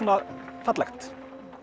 fallegt